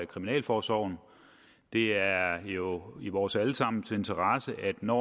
kriminalforsorgen det er jo i vores alle sammens interesse at når